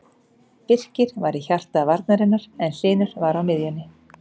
Birkir var í hjarta varnarinnar en Hlynur var á miðjunni.